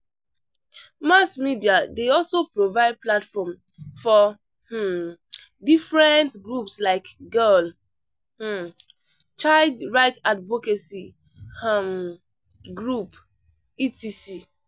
Mass media dey also provide platform for um different groups like girl um child right advocacy um group, etc.